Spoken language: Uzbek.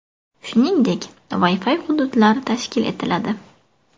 Shuningdek, Wi-Fi hududlar tashkil etiladi.